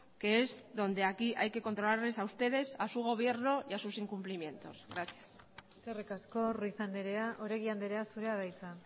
que es donde aquí hay que controlarles a ustedes a su gobierno y a sus incumplimientos gracias eskerrik asko ruiz andrea oregi andrea zurea da hitza